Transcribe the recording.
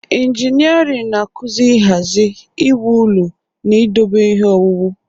Injịnịarịn na-akụzi nhazi, iwu ụlọ na idobe ihe owuwu.